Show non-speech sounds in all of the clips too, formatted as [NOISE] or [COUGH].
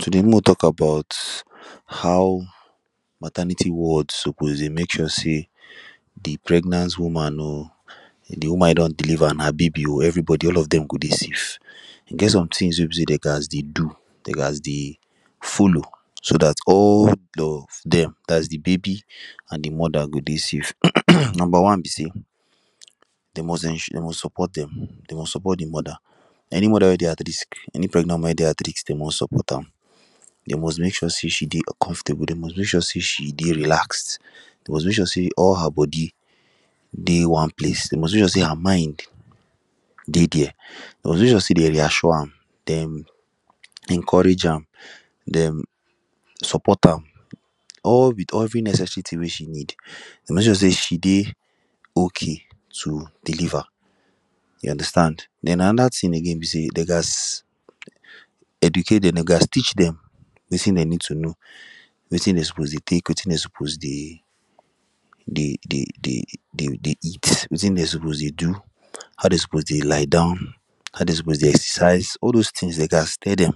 Today make we talk about how maternity wards suppose dey make sure say the pregnant woman um the woman e don deliver and her baby um everybody all of them go dey safe and e get somethings wey be say dem ghast dey do dem ghast dey follow so that all of them that is the baby and the mother go dey safe [COUGHS] Number one be say they must ensure they must support them they must support the mother. Any mother wey dey at risk any pregnant mother wey dey at risk they must support am they must make sure say she dey comfortable they must make sure say she dey relaxed. They must make sure say all her body dey one place they must make sure say her mind dey there they must make sure say dem dey assure am dem encourage am dem support am all with every necessary thing wey she needs. They must make sure say she dey okay to deliver you understand then another thing again be say dem ghast educate them dem gast teach dem wetin dem need to know wetin dem suppose dey take wetin dey dey dey dey dey eat wetin dem suppose dey do how dem suppose dey lie down how dem suppose dey exercise all those things dem ghast tell them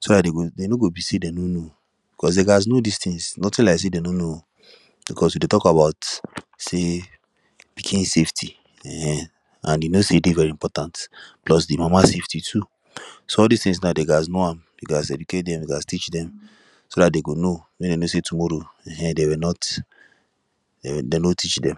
so that dem no go be say dem no know cause they ghast know this things nothing like say dem no know [um]because e dey talk about say pikin safety when and e no know e dey very important plus the mama safety too so all this things now they gast know am they ghast educate them they ghast teach them so that dem go know make dem know say tomorrow um they were not dem no teach them